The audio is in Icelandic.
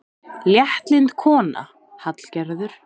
Léttlynd kona, Hallgerður.